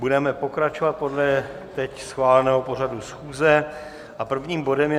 Budeme pokračovat podle teď schváleného pořadu schůze a prvním bodem je